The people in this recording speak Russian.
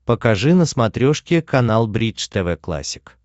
покажи на смотрешке канал бридж тв классик